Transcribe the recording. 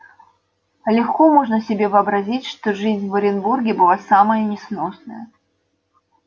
легко можно себе вообразить что жизнь в оренбурге была самая несносная